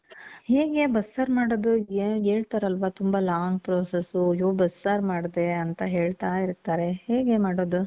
ಹೇಗೆ ಬಸ್ಸಾರ್ ಮಾಡೋದು? ಏನ್ ಹೇಳ್ತಾರಲ್ವ ತುಂಬ long process, ಅಯ್ಯೋ ಬಸ್ಸಾರ್ ಮಾಡ್ದೆ ಅಂತ ಹೇಳ್ತಾ ಇರ್ತಾರೆ. ಹೇಗೆ ಮಾಡೋದು?